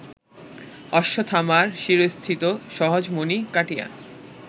অশ্বত্থামার শিরস্থিত সহজমণি কাটিয়া